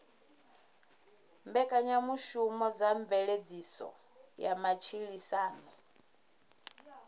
mbekanyamushumo dza mveledziso ya matshilisano